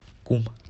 кум